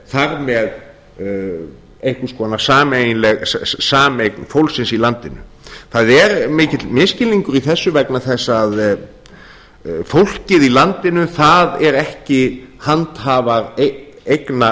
það þar með einhvers konar sameiginleg sameign fólksins í landinu það er mikill misskilningur í þessu vegna þess að fólkið í landinu það eru ekki handhafar eigna